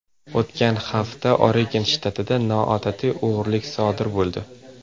O‘tgan hafta Oregon shtatida noodatiy o‘g‘irlik sodir bo‘ldi.